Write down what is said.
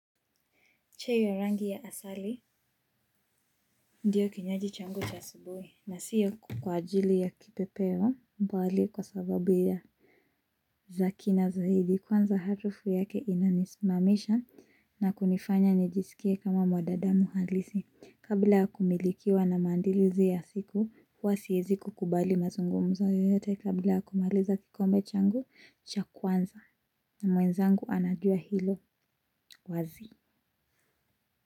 Chenye rangi ya asali ndiyo kinywaji changu cha asubuhi na siyo kwa ajili ya kipepeo mbali kwa sababu ya za kina zaidi kwanza harufu yake inanisimamisha na kunifanya nijisikie kama mwanadamu halisi kabla ya kumilikiwa na maandilizi ya siku huwa siezi kukubali mazungumzo yoyote kabla ya kumaliza kikombe changu cha kwanza na mwenzangu anajua hilo wazi.